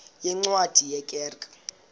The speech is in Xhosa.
yeencwadi ye kerk